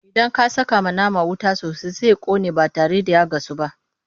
Idan aka sakawa nama wuta sosai Sai ya ƙone ba tare da ya gasu ba.